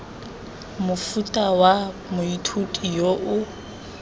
mofuta wa moithuti yo o